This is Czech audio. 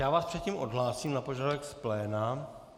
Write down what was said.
Já vás předtím odhlásím na požadavek z pléna.